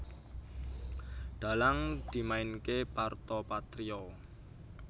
Dhalang dimainké Parto Patrio